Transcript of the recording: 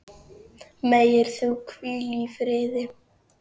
Megir þú hvíla í friði.